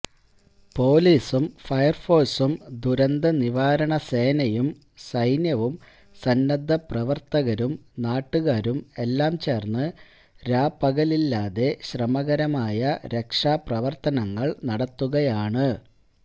പൊലീസും ഫയർ ഫോഴ്സും ദുരന്തനിവാരണസേനയും സൈന്യവും സന്നദ്ധപ്രവർത്തകരും നാട്ടുകാരും എല്ലാം ചേർന്ന് രാപകലില്ലാതെ ശ്രമകരമായ രക്ഷാപ്രവർത്തനങ്ങൾ നടത്തുകയാണ്